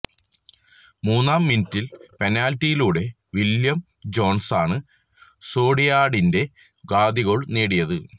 മൂന്നാം മിനിറ്റില് പെനാല്റ്റിയിലൂടെ വില്ല്യം ജോസാണ് സോസിഡാഡിന്റെ ആദ്യ ഗോള് നേടിയത്